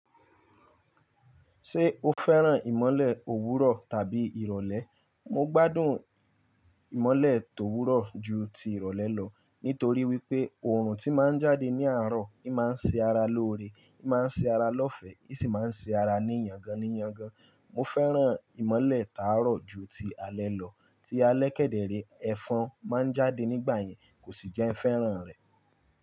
Ṣé o fẹ́ràn ìmọ̀lẹ̀ òwúrọ̀ tàbí ìrọ̀lẹ́? Mo gbádùn ìmọ́lẹ̀ tòwúrọ̀ jù ti ìrọ̀lẹ́ lọ, nítorí wípé oòrùn tíì máa ń jáde ní àárọ̀, ń máa ṣe ara lóore, ń máa ṣe ara lófẹ̀ẹ́, ń sì máa ń ṣará ní yángá nì yángá. Mo fẹ́ràn ìmọ̀lẹ̀ táàrọ̀ ju ti alẹ́ lọ. Tí alẹ́ kẹ́dẹ́rẹ́, ẹfọ́n máa ń jáde nígbà yẹn kò ṣì jẹ́ fẹ́ràn rẹ̀.